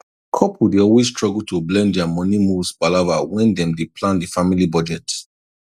couple dey always struggle to blend their money moves palava when dem dey plan the family budget